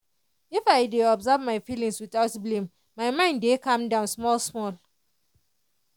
if i dey observe my feelings without blame my mind dey calm down small small.